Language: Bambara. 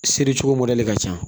Seri cogo mɔdɛli ka ca